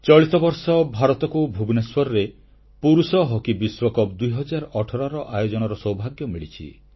ଚଳିତ ବର୍ଷ ଭାରତକୁ ପୁରୁଷ ହକି ବିଶ୍ୱକପ 2018 ପ୍ରତିଯୋଗିତା ଭୁବନେଶ୍ୱରରେ ଆୟୋଜନ କରିବାର ସୌଭାଗ୍ୟ ମିଳିଛି